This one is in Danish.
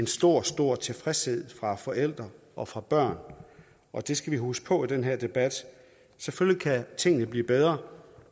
stor stor tilfredshed fra forældre og fra børn og det skal vi huske på i den her debat selvfølgelig kan tingene blive bedre